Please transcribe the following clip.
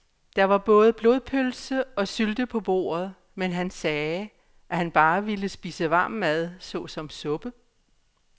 Der var både blodpølse og sylte på bordet, men han sagde, at han bare ville spise varm mad såsom suppe.